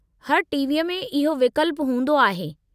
हर टीवीअ में इहो विकल्पु हूंदो आहे।